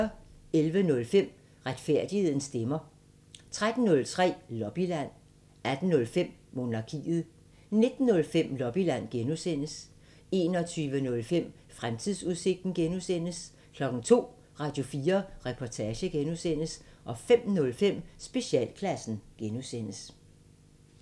11:05: Retfærdighedens stemmer 13:05: Lobbyland 18:05: Monarkiet 19:05: Lobbyland (G) 21:05: Fremtidsudsigten (G) 02:00: Radio4 Reportage (G) 05:05: Specialklassen (G)